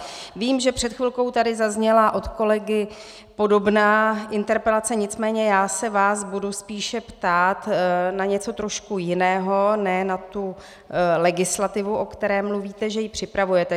Vím, že před chvilkou tady zazněla od kolegy podobná interpelace, nicméně já se vás budu spíše ptát na něco trošku jiného, ne na tu legislativu, o které mluvíte, že ji připravujete.